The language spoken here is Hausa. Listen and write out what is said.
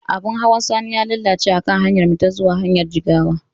Abin hawan Sani ya lalace akan hanyarmu ta zuwa jihar jigawa.